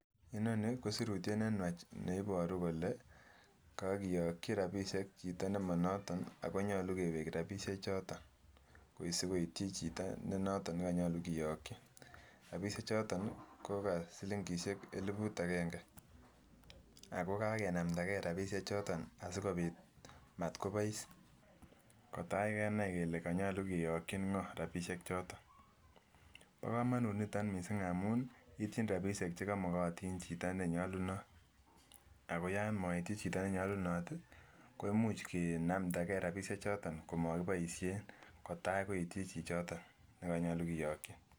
Inoni kosirutyet nenywach ne iboru kole kokiyoki rabishek chito nemonoton ako nyolu kewek rabishe choton sikoityi chito ne noton nekonyolu kiyoki, rabishek choton ko kosilingishe elibut agenge ako kakenamda gee rabishek choton asikobit motkobois kotai kennai kele koyolu kiyoki ngo rabishek choton, bo komonut niton missing amun ityin rabishek chekomokotin chito nenyolunot ako yon moityi chito nenyoluno koimuch kenamda gee rabishek choto komokiboishen kotai koityi chichoton nekonyolu kiyoki.